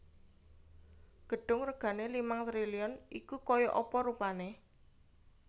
Gedung regane limang triliun iku koyok apa rupane?